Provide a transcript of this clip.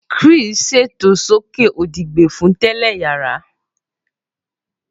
Chris ṣeto soke odi gbẹ fun telẹ yara.